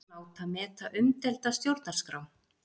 Láta meta umdeilda stjórnarskrá